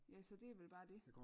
Ja så det er vel bare det